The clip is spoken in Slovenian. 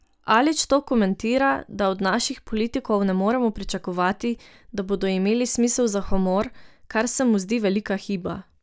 Alič to komentira, da od naših politikov ne moremo pričakovati, da bodo imeli smisel za humor, kar se mu zdi velika hiba.